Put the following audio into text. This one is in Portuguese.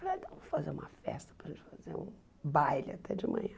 Falei, vamos fazer uma festa para a gente fazer um baile até de manhã.